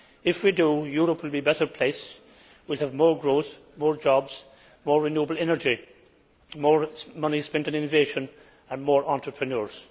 If we do so, Europe will be a better place it will have more growth, more jobs, more renewable energy, more money being spent on innovation and more entrepreneurs.